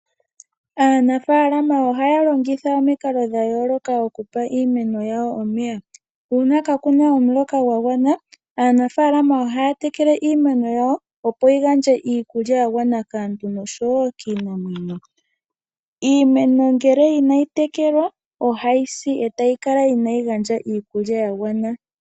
Aanafalama ohaya longitha omikalo dha yooloka okupa iimeno yawo omeya. Uuna kaku na omuloka gwa gwana, aanafalama ohaya tekele iimeno yawo, opo yi gandje iikulya ya gwana kaantu nosho wo kiinamwenyo. Iimeno ngele inayi tekelwa ohayi si e tayi kala inayi gandja iikulya ya gwana.